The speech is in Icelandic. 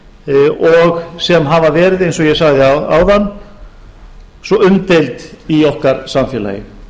hæstaréttardómara og sem hafa verið eins og ég sagði áðan svo umdeild í okkar samfélagi